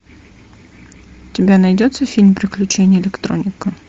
у тебя найдется фильм приключения электроника